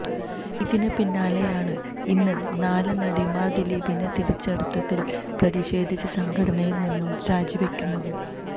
ഇതിന് പിന്നാലെയാണ് ഇന്ന് നാല് നടിമാര് ദിലീപിനെ തിരിച്ചെടുത്തതില് പ്രതിഷേധിച്ച് സംഘടനയില് നിന്നും രാജിവയ്ക്കുന്നത്